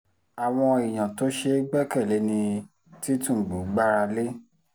àwọn èèyàn tí ò ṣeé gbẹ́kẹ̀lé ni tìtúngbù gbára lé